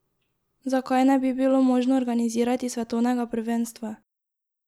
Zakaj ne bi bilo možno organizirati svetovnega prvenstva?